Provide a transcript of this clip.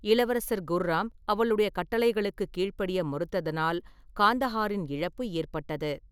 இளவரசர் குர்ராம் அவளுடைய கட்டளைகளுக்குக் கீழ்ப்படிய மறுத்தனால் காந்தஹாரின் இழப்பு ஏற்பட்டது.